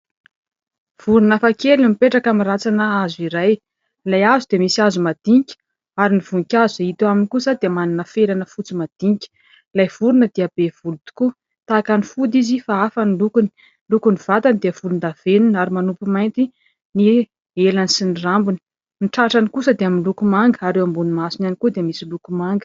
Vorona hafakely no mipetraka amin'ny rantsana hazo iray. Ilay hazo dia misy hazo madinika ary ny voninkazo izay hita aminy kosa dia manana felana fotsy madinika. Ilay vorona dia be volo tokoa tahaka ny fody izy fa hafa ny lokony. Ny lokon'ny vatany dia volondavenona ary manopy mainty ny elany sy ny rambony, ny tratrany kosa dia miloko manga ary eo ambonin'ny masony ihany koa dia misy loko manga.